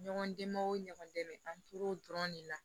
Ɲɔgɔn dɛmɛ o ɲɔgɔn dɛmɛ an tor'o dɔrɔn de la